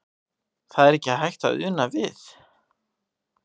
Það er ekki hægt að una við.